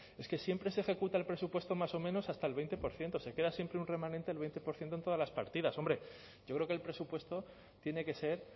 es que siempre se ejecuta el presupuesto más o menos hasta el veinte por ciento se queda siempre un remanente del veinte por ciento en todas las partidas hombre yo creo que el presupuesto tiene que ser